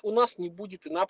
у нас не будет и на